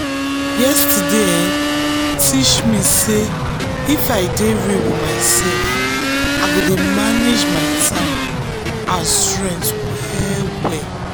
yesterday um teach me sey if i dey real with myself i go dey manage my time and um strength well well